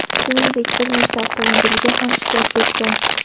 Shuningdek, bir nechta avtomobilga ham shikast yetgan.